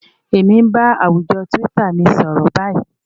Èmi ń bá àwùjọ twitter mi sọ̀rọ̀ báyìí